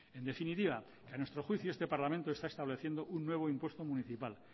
en definitiva que a nuestro juicio este parlamento está estableciendo un nuevo impuesto municipal